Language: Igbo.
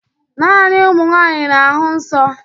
Naanị ụmụ nwanyị na-ahụ nsọ